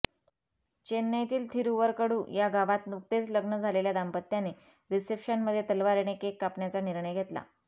चेन्नईतील थिरुवरकडू गावात नुकतेच लग्न झालेल्या दाम्पत्याने रिसेप्शनमध्ये तलवारीने केक कापण्याचा निर्णय घेतला